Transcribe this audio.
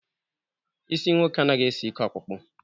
Isi ụmụ nwoke anaghị esi ike ọkpụkpụ.